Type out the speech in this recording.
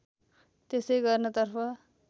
त्यसै गर्नतर्फ